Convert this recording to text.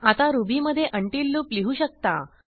आता रुबीमधे until loop लिहू शकता